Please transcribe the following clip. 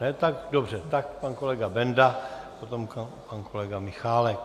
Ne, tak dobře, tak pan kolega Benda, potom pan kolega Michálek.